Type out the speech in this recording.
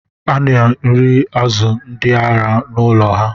A na-nri azu ndị ara n’ụlọ ha